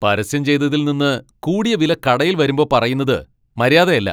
പരസ്യം ചെയ്തതിൽ നിന്ന് കൂടിയ വില കടയിൽ വരുമ്പോ പറയുന്നത് മര്യാദയല്ല.